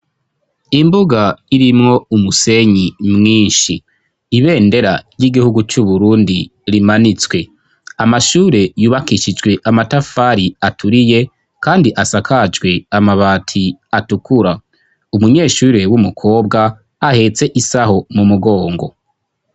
imbuga irimwo umusenyi mwinshi ibendera ry'igihugu c'uburundi rimanitswe amashure yubakishijwe amatafari aturiye kandi asakajwe amabati atukura umunyeshure w'umukobwa ahetse isaho mu mugongo